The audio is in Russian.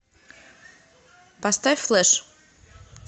поставь флеш